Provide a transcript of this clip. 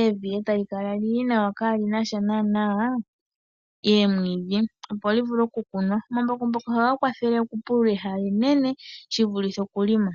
evi e tali kala lili nawa kaa linasha naana oomwiidhi opo li vule oku kunwa. Omambakumbaku ohaga kwathele oku pulula ehala enene shi vulithe oku lima.